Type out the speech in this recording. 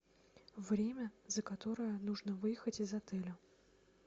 время за которое нужно выехать из отеля